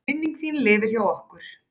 Minning þín lifir hjá okkur.